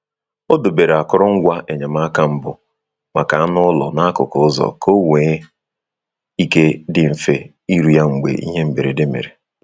Ọ debere akụrụngwa enyemaka mbụ maka anụ ụlọ n’akụkụ ụzọ ka onwe ike dị mfe iru ya mgbe ihe mberede mere.